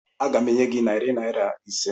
Aga m enye gị narị naira ise